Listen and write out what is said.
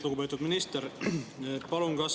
Lugupeetud minister!